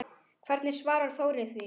Hvernig svarar Þórir því?